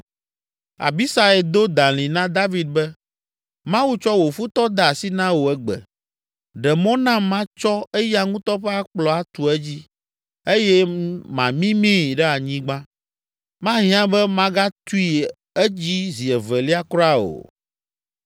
Abisai do dalĩ na David be, “Mawu tsɔ wò futɔ de asi na wò egbe, ɖe mɔ nam matsɔ eya ŋutɔ ƒe akplɔ atu edzi eye mamimii ɖe anyigba. Mahiã be magatui edzi zi evelia kura o!”